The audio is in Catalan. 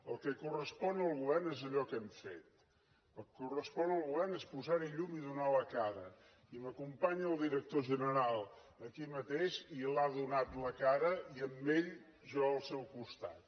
el que correspon al govern és allò que hem fet el que correspon al govern és posar hi llum i donar la cara i m’acompanya el director general aquí mateix i l’ha donat la cara i amb ell jo al seu costat